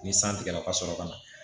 Ni san tigɛra ka sɔrɔ ka na